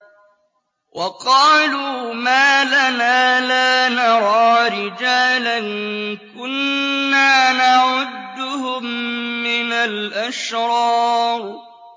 وَقَالُوا مَا لَنَا لَا نَرَىٰ رِجَالًا كُنَّا نَعُدُّهُم مِّنَ الْأَشْرَارِ